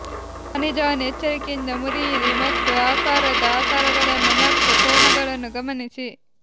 ಖನಿಜವನ್ನು ಎಚ್ಚರಿಕೆಯಿಂದ ಮುರಿಯಿರಿ ಮತ್ತು ಆಕಾರದ ಆಕಾರಗಳನ್ನು ಮತ್ತು ಕೋನಗಳನ್ನು ಗಮನಿಸಿ